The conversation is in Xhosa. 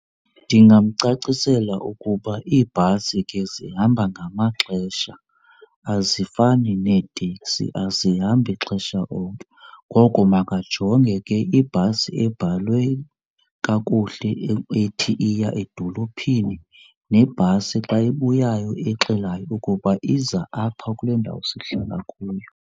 Ndingamcacisela ukuba iibhasi ke zihamba ngamaxesha azifani neeteksi azihambi xesha onke, ngoko makajonge ke ibhasi ebhalwe kakuhle ethi iya edolophini nebhasi xa ebuyayo exelayo ukuba iza apha kule ndawo sihlala kuyo.